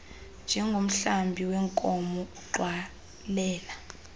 njengomhlambi weenkomo ugxwalela